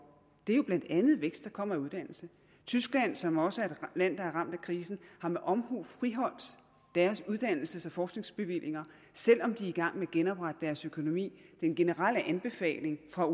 er jo blandt andet en vækst der kommer af uddannelse tyskland som også er et land der er ramt af krisen har med omhu friholdt deres uddannelses og forskningsbevillinger selv om de er i gang med at genoprette deres økonomi den generelle anbefaling fra